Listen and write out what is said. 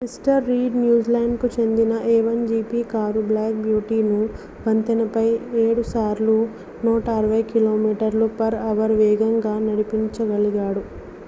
mister Reid న్యూజిలాండ్‌కు చెందిన a1gp car black beautyను వంతెనపై 7 సార్లు 160km/h వేగంతో నడిపించగలిగాడు